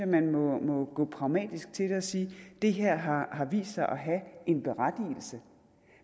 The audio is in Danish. man må gå pragmatisk til det og sige det her har har vist sig at have en berettigelse